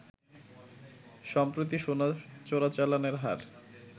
সম্প্রতি সোনা চোরাচালানের হার